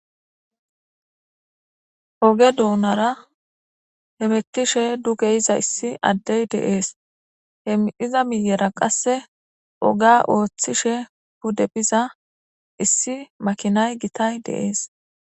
Oge donara hemetishe duge yizaysi adey de'es he mi'za miyera qase ogiya otishe pude biza issi makinay gitay de'es.